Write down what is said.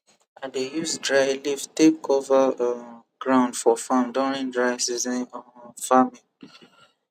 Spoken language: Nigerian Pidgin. i dey use dry leaf take cover um ground for farm during dry season um farming